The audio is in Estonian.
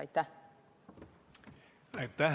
Aitäh!